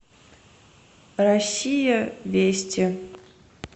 россия вести